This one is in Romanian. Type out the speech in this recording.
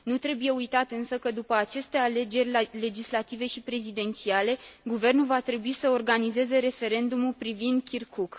Nu trebuie uitat însă că, după aceste alegeri legislative și prezidențiale, guvernul va trebui să organizeze referendumul privind Kirkuk.